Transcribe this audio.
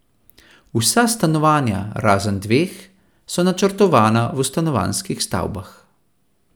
Vsa stanovanja, razen dveh, so načrtovana v stanovanjskih stavbah.